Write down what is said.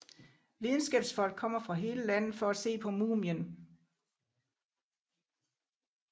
Videnskabsfolk kom fra hele landet for at se på mumien